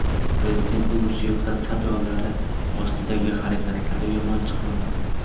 Prezidentning musiqa sadolari ostidagi harakatlari yomon chiqmadi.